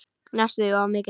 Næstum því of mikill.